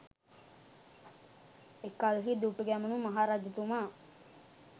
එකල්හි දුටුගැමුුණු මහරජතුමා